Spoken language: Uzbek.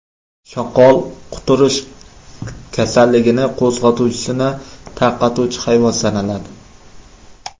Shoqol quturish kasalligining qo‘zg‘atuvchisini tarqatuvchi hayvon sanaladi.